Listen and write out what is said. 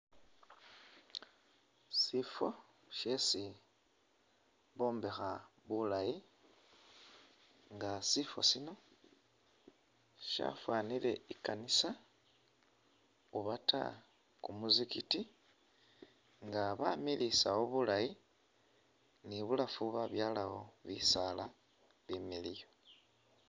Sifo shesi bombekha bulayi nga sifo sino shafwanile i'kanisa oba ta kumuzigiti nga bamilisawo bulayi ni bulafu babyalawo bisaala bimiliyu